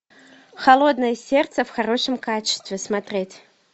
холодное сердце в хорошем качестве смотреть